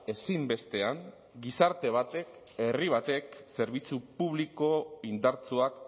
ezinbestean gizarte batek herri batek zerbitzu publiko indartsuak